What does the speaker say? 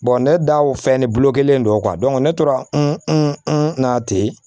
ne da o fɛn ne bolo kelen don ne tora na ten